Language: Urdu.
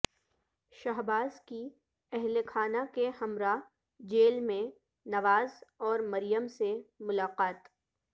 شہباز کی اہلخانہ کے ہمراہ جیل میں نواز اور مریم سے ملاقات